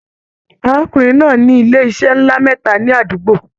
Arákùnrin náà ní ilé iṣẹ nlá mẹta ní àdúgbò.